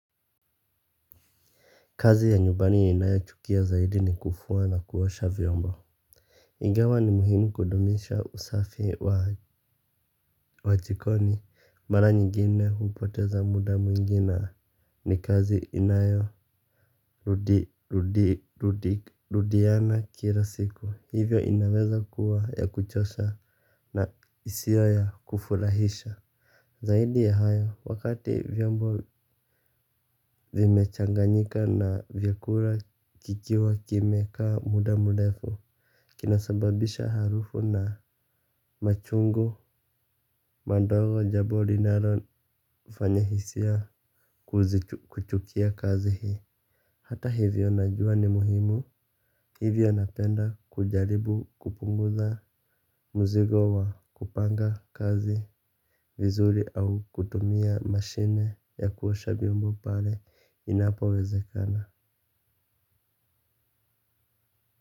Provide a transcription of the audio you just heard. Kazi ya nyubani ya ninayochukia zaidi ni kufuwa na kuosha vyombo. Ingawa ni muhimu kudumisha usafi wa chikoni mara nyingine hupoteza muda mwingi na ni kazi inayo rudiana kila siku hivyo inaweza kuwa ya kuchosha na isio ya kufurahisha. Zaidi ya hayo, wakati vyombo vimechanganyika na vyakura kikiwa kime kaa muda murefu. Kinasababisha harufu na machungu, madogo, jabo linaro fanya hisia kuchukia kazi hii. Hata hivyo najua ni muhimu. Hivyo napenda kujaribu kupunguza mzigo wa kupanga kazi vizuri au kutumia mashine ya kuosha vyombo pale inapowezekana.